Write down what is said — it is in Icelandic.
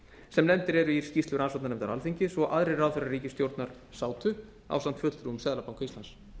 sem nefndir eru í skýrslu rannsóknarnefndar alþingis og aðrir ráðherrar ríkisstjórnar sátu ásamt fulltrúum seðlabanka íslands